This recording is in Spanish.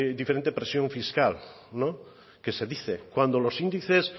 diferente presión fiscal que se dice cuando los índices